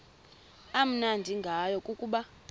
amnandi ngayo kukuba